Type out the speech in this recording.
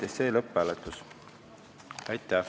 Aitäh!